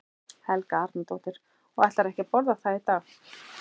Helga Arnardóttir: Og ætlarðu ekki að borða það í dag?